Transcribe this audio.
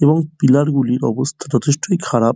এবং পিলার গুলির অবস্থা যচেষ্ট খারাপ।